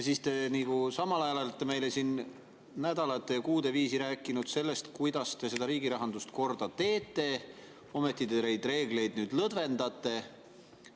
Te olete meile nädalate ja kuude viisi rääkinud sellest, kuidas te riigi rahandust korda teete, ometi te neid reegleid nüüd lõdvendate.